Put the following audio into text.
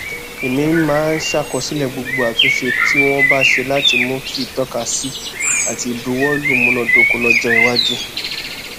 èmi máa ń ṣàkọsílẹ gbogbo àtúnṣe tí wọn bá ṣe láti mú kí ìtọkásí àti ìbuwọlù múnádóko lọjọiwájú